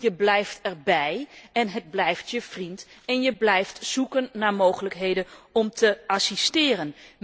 2. je blijft erbij en het blijft je vriend en je blijft zoeken naar mogelijkheden om te assisteren.